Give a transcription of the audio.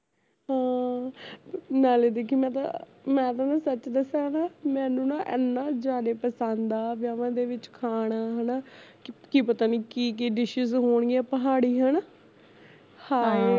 ਹਾਂ ਨਾਲੇ ਦੇਖੀ ਮੈਂ ਤਾਂ ਮੈਂ ਤਾ ਨਾ ਸੱਚ ਦੱਸਾਂ ਨਾ ਮੈਨੂੰ ਨਾ ਏਨਾ ਜਿਆਦਾ ਪਸੰਦ ਆ ਵਿਆਹਾਂਵਾ ਦੇ ਵਿਚ ਖਾਣਾ ਹੈਨਾ ਕੀ ਪਤਾ ਨੀ ਕੀ ਕੀ dishes ਹੋਣਗੀਆਂ, ਪਹਾੜੀ ਹੈਨਾ ਹਾਏ